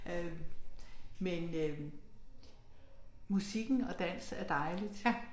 Øh men øh musikken og dans er dejligt